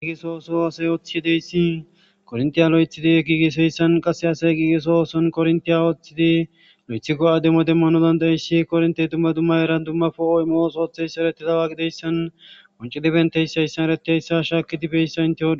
giigiso ooso asay ooththiydeyssi korntiya lo7ethidi giiges heyssan qasse asay giigeso ooson korntiya ooththidi lo7ethi go7a demmo demmano dandayissi kornte dumma dumma eran dummafo ooymoos ootheys eretidawa gideyssan qoncidibenteys seyssan eratiyayssa shaakidi beyssa inte ho.